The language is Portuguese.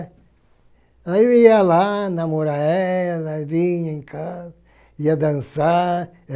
Aí eu ia lá namorar ela, vinha em casa, ia dançar.